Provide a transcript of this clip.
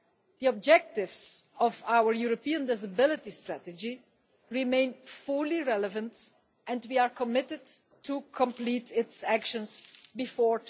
The objectives of our European Disability Strategy remain fully relevant and we are committed to complete its actions before